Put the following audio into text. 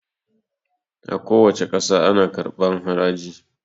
A kuwace ƙasa ana karɓan haraji